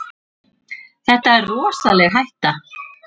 Það er rosaleg hætta.